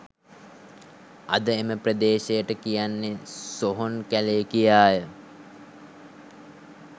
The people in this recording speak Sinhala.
අද එම ප්‍රදේශයට කියන්නේ සොහොන් කැලේ කිියාය